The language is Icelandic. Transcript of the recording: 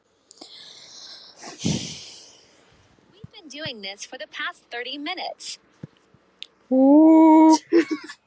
Já, það get ég